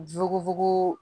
Fugufugu